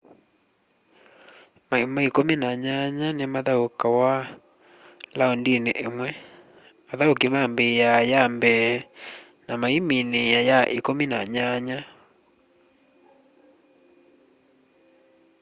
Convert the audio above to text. maima ikumi na nyanya ni mathaukawa laundini imwe athauki mambiaa ya mbee na maiminiia ya ikumi ya nyanya